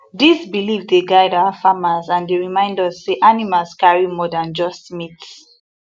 these belief dey guide our farmers and dey remind us say animals carry more than just meat